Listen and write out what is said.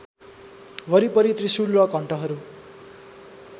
वरिपरि त्रिशुल र घण्टहरू